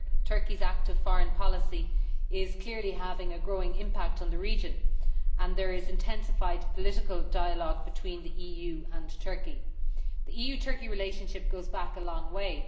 Turkey's active foreign policy is clearly having a growing impact in the region, and there is intensified political dialogue between the EU and Turkey. The EU Turkey relationship goes back a long way.